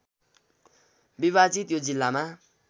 विभाजित यो जिल्लामा